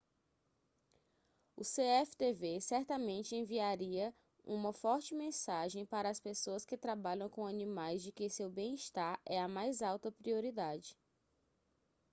o cftv certamente enviaria uma forte mensagem para as pessoas que trabalham com animais de que seu bem-estar é a mais alta prioridade